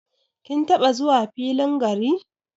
Kin taba zuwa filin gari?